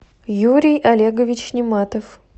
юрий олегович нематов